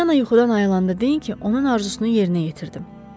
Polyana yuxudan ayılanda deyin ki, onun arzusunu yerinə yetirdim.